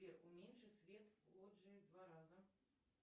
сбер уменьши свет в лоджии в два раза